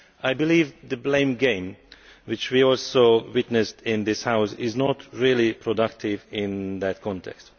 I believe that the blame game which we have also witnessed in this House is not really productive in that context.